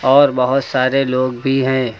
और बहुत सारे लोग भी हैं।